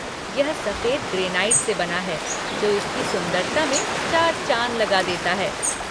यह सफेद ग्रेनाइट से बना है जो इसकी सुंदरता मैं चार चाँद लगा देता है।